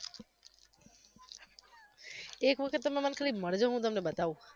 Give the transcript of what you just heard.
એક વખત તમે મને આમ ખાલી મલજો હુ તમને બતાવુ